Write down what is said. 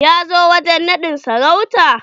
Ya zo wajen naɗin sarauta?